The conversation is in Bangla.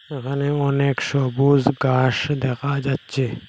এখানেও অনেক সবুজ গাস দেখা যাচ্ছে।